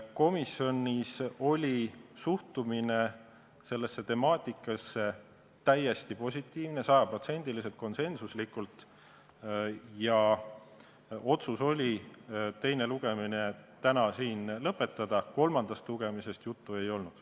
Komisjonis oli suhtumine sellesse temaatikasse täiesti positiivne, sada protsenti konsensuslik, ja otsus oli teine lugemine täna lõpetada, kolmandast lugemisest juttu ei olnud.